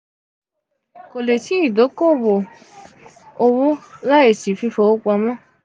ko le si idoko-owo owo laisi fifiowopamọ.